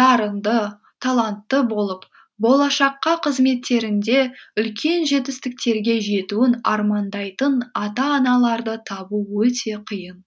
дарынды талантты болып болашақ қызметтерінде үлкен жетістіктерге жетуін армандайтын ата аналарды табу өте қиын